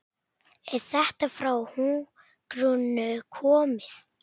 Er þetta frá Hugrúnu komið?